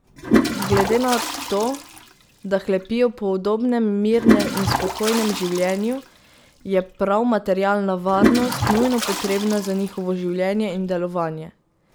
Glede na to, da hlepijo po udobnem, mirnem in spokojnem življenju, je prav materialna varnost nujno potrebna za njihovo življenje in delovanje.